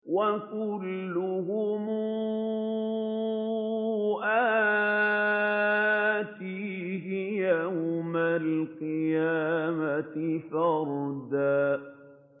وَكُلُّهُمْ آتِيهِ يَوْمَ الْقِيَامَةِ فَرْدًا